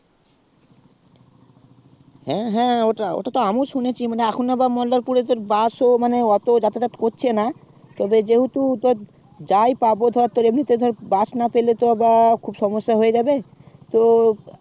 হ্যাঁ হ্যাঁ ওটা ওটা তো আমি ও শুনেছি মানে এখন আবা মল্লারপুর এর যে bus ও মানে অত জাতা জাত করছে না তবে যেহুতু তো যাই পাবো ধর তোর এমনিতে ধরে bus না পেলে তো এবার খুব সমস্যা হয়ে যাবে তো